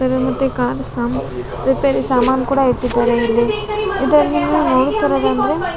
ಕಡೆ ಮತ್ತೆ ಕಾರ್ ಸಾಮ್ ರಿಪೇರಿ ಸಮಾನ್ ಕೂಡ ಇಟ್ಟಿದ್ದಾರೆ ಇಲ್ಲಿ ಇದ್ರಲ್ಲಿ ನೀವು ನೋಡುತ್ತಿರುದಂದ್ರೆ --